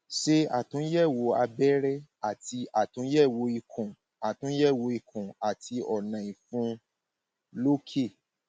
ṣe àtúnyẹwò abẹrẹ àti àtúnyẹwò ikùn àtúnyẹwò ikùn àti ọnà ìfun lókè